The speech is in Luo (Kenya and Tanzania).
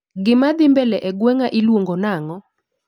Gimadhii mbele e gweng'a ilongonang'o